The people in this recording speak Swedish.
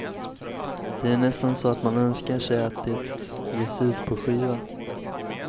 Det är nästan så att man önskar sig att det ges ut på skiva.